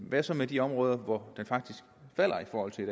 hvad så med de områder hvor det faktisk falder i forhold til i